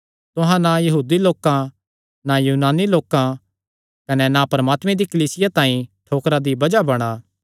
तुहां ना यहूदी लोकां ना यूनानी लोकां कने ना परमात्मे दी कलीसिया तांई ठोकरा दी बज़ाह बणा